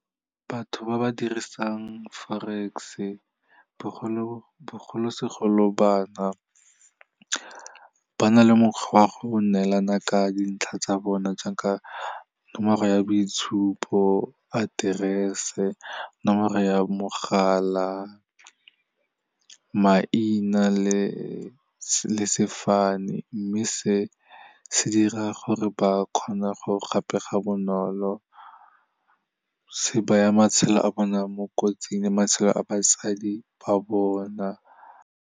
Batho ba ba dirisang Forex-e bogolosegolo bana, ba na le mokgwa wa go neelana ka dintlha tsa bona jaaka nomoro ya boitshupo, aterese, nomoro ya mogala, maina le sefane, mme se se dira gore ba kgone go gapega bonolo, se baya matshelo a bona mo kotsing le matshelo a basadi ba bona.